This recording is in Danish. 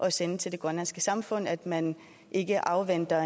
at sende til det grønlandske samfund at man ikke afventer